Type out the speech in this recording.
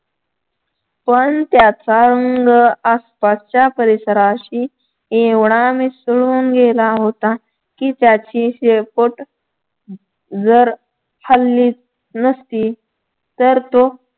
पण त्याचा रंग आसपासच्या परिसराशी एवढा मिसळून गेला होता की त्याची शेपूट जर हललीच नसती तर तो